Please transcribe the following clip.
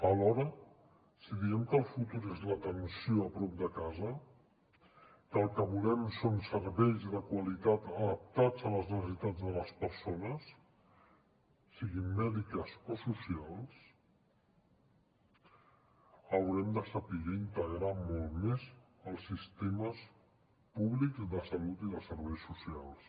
alhora si diem que el futur és l’atenció a prop de casa que el que volem són serveis de qualitat adaptats a les necessitats de les persones siguin mèdiques o socials haurem de saber integrar molt més els sistemes públics de salut i de serveis socials